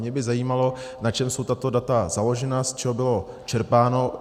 Mě by zajímalo, na čem jsou tato data založena, z čeho bylo čerpáno.